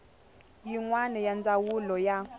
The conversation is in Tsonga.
yin wana ya ndzawulo ya